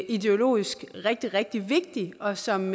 ideologisk rigtig rigtig vigtige og som